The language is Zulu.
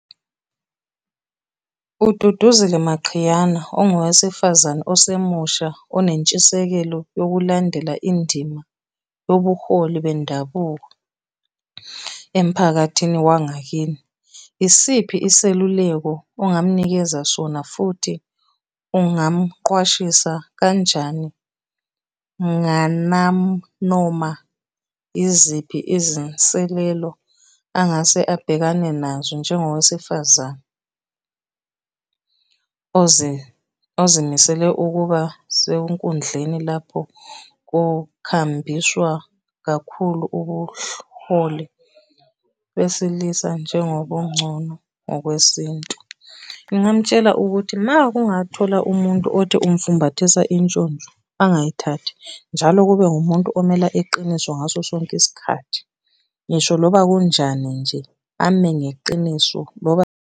UDuduzile Maqhiyana ongowesifazane osemusha onentshisekelo yokulandela indima yobuholi bendabuko emphakathini wangakini. Isiphi iseluleko ongamnikeza sona, futhi ungamqwashisa kanjani ngananoma yiziphi izinselelo angase abhekane nazo njengowesifazane ozimisele ukuba senkudleni lapho kukhambiswa kakhulu ubuhloli besilisa njengobungcono ngokwesintu? Ngingamutshela ukuthi uma ungathola umuntu othi umfumbathisa intshontsho angayithathi, njalo kube umuntu omele iqiniso ngaso sonke isikhathi. Ngisho noba kunjani nje, ame ngeqiniso .